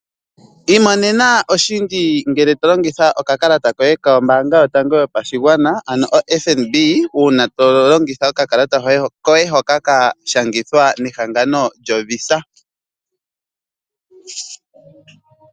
Iimonena oshindji ngele tolongitha okakalata koye kombanga yotango yopashingwana ano o FNB una tolongitha okakalata koye hoka kashangithwa nehangano lyo VISA.